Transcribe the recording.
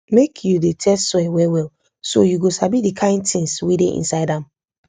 make you dey test soil well well so you go sabi the kind things wey dey inside am